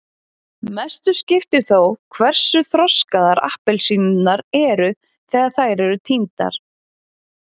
Mestu skiptir þó hversu þroskaðar appelsínurnar eru þegar þær eru tíndar.